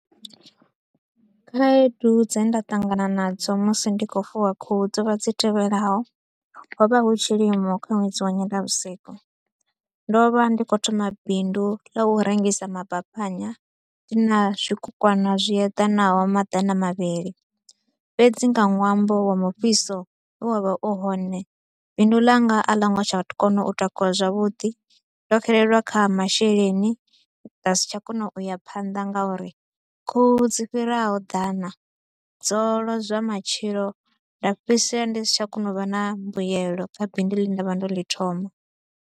Khaedu dze nda ṱangana nadzo musi ndi kho u fuwa khuhu dzo vha dzi tevhelaho. Ho vha hu tshilimo kha ṅwedzi wa nyendavhusiku, ndo vha ndi kho u thoma bindu ḽa u rengisa mabaphanya na zwikukwana zwi eḓanaho maḓana mavhili. Fhedzi nga ṅwambo wa mufhiso we wa vha u hone, bindu ḽanga a ḽo ngo tsha kona u takuwa zwavhuḓi, ndo xelelwa kha ha masheleni, nda si tsha kona u ya phanḓa nga uri khuhu dzi fhiraho ḓana dzo lozwa matshilo nda fhedzisela ndi si tsha kona u vha na mbuelo kha bindu ḽe nda vha ndo ḽi thoma.